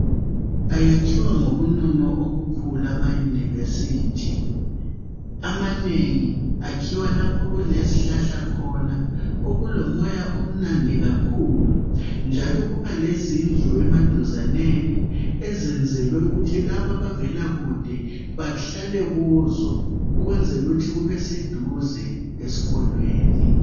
Ayakhiwa ngobunono obukhulu amayunivesithi. Amanengi akhiwa lapho okulezihlahla khona okulomoya omnandi kakhulu njalo kuba lezindlu emaduzaneni ezenzelwe ukuthi labo abavela kude bahlale kuzo ukwenzela ukuthi kubeseduze eskolweni.